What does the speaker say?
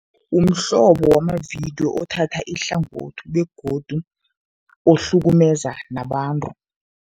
Umhlobo wamavidiyo othatha ihlangothi begodu ohlukumeza nabantu.